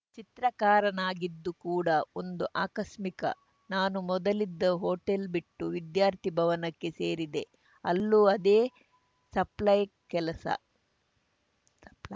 ಚಿತ್ರಕಾರನಾಗಿದ್ದು ಕೂಡ ಒಂದು ಆಕಸ್ಮಿಕ ನಾನು ಮೊದಲಿದ್ದ ಹೊಟೇಲ್‌ ಬಿಟ್ಟು ವಿದ್ಯಾರ್ಥಿ ಭವನಕ್ಕೆ ಸೇರಿದೆ ಅಲ್ಲೂ ಅದೇ ಸಪ್ಲೈಯ್ ಕೆಲಸ